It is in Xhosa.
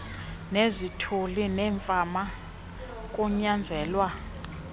nezithulu neemfama kunyanzelwa